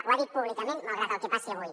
ho ha dit públicament malgrat el que passi avui